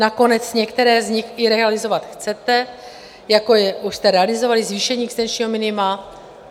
Nakonec některé z nich i realizovat chcete, jako už jste realizovali zvýšení existenčního minima.